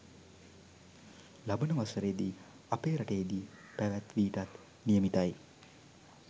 ලබන වසරේදී අපේ රටේදී පැවැත්වීටත් නියමිතයි